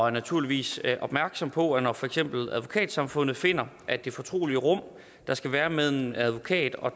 er naturligvis opmærksom på at for eksempel advokatsamfundet finder at det fortrolige rum der skal være medlem advokat og